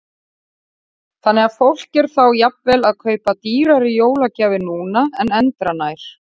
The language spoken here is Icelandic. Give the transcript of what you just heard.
Jóhann: Þannig að fólk er þá jafnvel að kaupa dýrari jólagjafir núna en endranær?